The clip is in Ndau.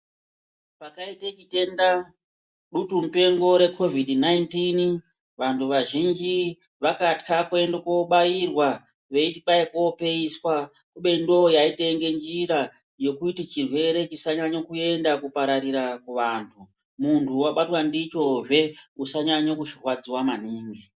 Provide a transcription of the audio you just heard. Pakaite chitenda dutu mupengo rekovhidhi 19 vanhu vazhinji vakatya kuende kobairwa veiti kwai kopeiswa kubeni ndiyo yaitenge njira yekuti chirwere chisanyanye kuenda kupararira kuvanhu, munhu wabatwa ndichozve usanyanye kurwadziwa maningi.